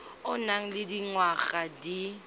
o nang le dingwaga di